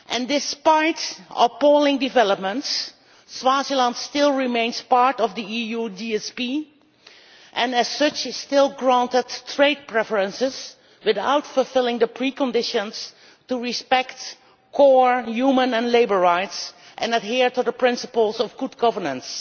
Despite appalling developments, Swaziland still remains part of the EU GSP and as such is still granted trade preferences without fulfilling the preconditions to respect core human and labour rights and adhere to the principles of good governance.